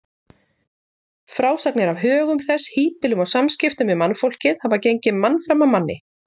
Frásagnir af högum þess, híbýlum og samskiptum við mannfólkið hafa gengið mann fram af manni.